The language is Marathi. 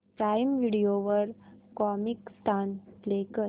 प्राईम व्हिडिओ वर कॉमिकस्तान प्ले कर